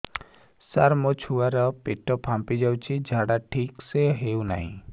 ସାର ମୋ ଛୁଆ ର ପେଟ ଫାମ୍ପି ଯାଉଛି ଝାଡା ଠିକ ସେ ହେଉନାହିଁ